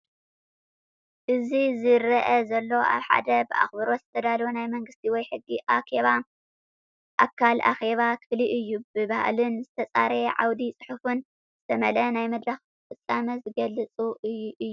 እዚዝረአ ዘሎ ኣብ ሓደ ብኣኽብሮት ዝተዳለወ ናይ መንግስቲ ወይ ሕጊ ኣካል ኣኼባ ክፍሊ እዩ። ብባህልን ዝተጸረየ ዓውደ-ጽሑፍን ዝተመልአ ናይ መድረኽ ፍጻመ ዝገልጽ እዩ።